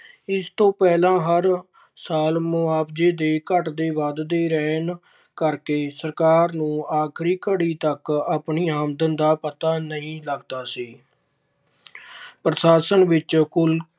ਇਸ ਤੋਂ ਪਹਿਲਾਂ ਹਰ ਸਾਲ ਮੁਆਵਜ਼ੇ ਦੇ ਘੱਟਦੇ ਵੱਧਦੇ ਰਹਿਣ ਕਰਕੇ ਸਰਕਾਰ ਨੂੰ ਆਖਰੀ ਘੜੀ ਤੱਕ ਆਪਣੀ ਆਮਦਨ ਦਾ ਪਤਾ ਨਹੀਂ ਲੱਗਦਾ ਸੀ ਪ੍ਰਸ਼ਾਸ਼ਨ ਵਿੱਚ ਕੁੱਲ